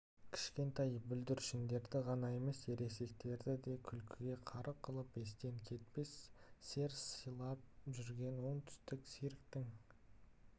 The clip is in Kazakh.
кішкентай бүлдіршіндерді ғана емес ересектерді де күлкіге қарық қылып естен кетпес сер сыйлап жүрген оңтүстік цирктің